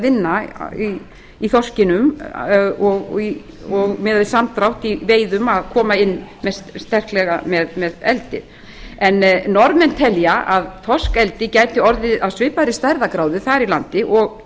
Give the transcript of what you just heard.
höfum verið að vinna í þorskinum og miðað við samdrátt í veiðum að koma inn sterklega með eldið norðmenn telja að þorskeldi gæti orðið af svipaðri stærðargráðu þar í landi og